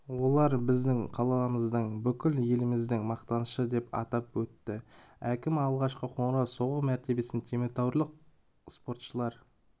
олар біздің қаламыздың бүкіл еліміздің мақтанышы деп атап өтті әкім алғашқы қоңырау соғу мәртебесі теміртаулық спортшылар